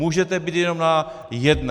Můžete být jenom na jedné!